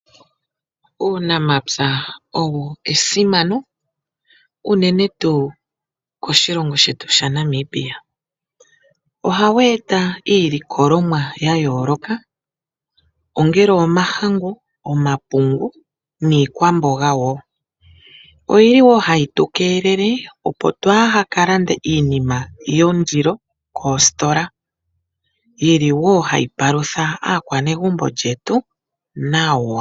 Uunamapya owo esimano unene tuu koshilongo shetu shaNamibia . Ohawu eta iilikolomwa yayooloka ongele omahangu, omapungu niikwamboga woo. Oyili wo hayi tukeelele opo twaaha kalande iinima yondilo koositola yili wo hayi palutha aakwanezimo yawo nawa.